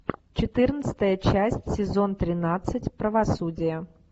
четырнадцатая часть сезон тринадцать правосудие